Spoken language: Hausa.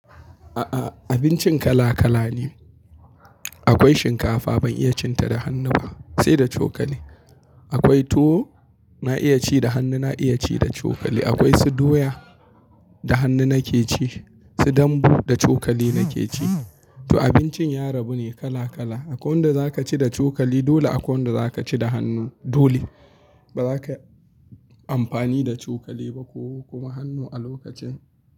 A'a, abincin kala kala ne. Akwai shinkafa ban iya cin ta da hannu ba sai da cokali. Akwai tuwo na iya ci da hannu na iya ci da cokali. Akwai su doya da hannu nake ci, su dambu da cokali nake ci. To abincin yarabu ne kala kala. Akwai wanda za ka ci da cokali dole akwai wanda za ka ci da hannu dole. Ba za kayi amfani da cokali ba ko kuma hannu a lokacin.